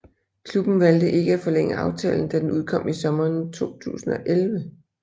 Klubben valgte ikke at forlænge aftalen da den udløb i sommeren 2011